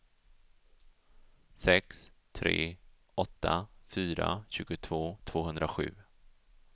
sex tre åtta fyra tjugotvå tvåhundrasju